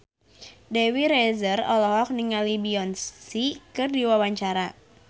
Dewi Rezer olohok ningali Beyonce keur diwawancara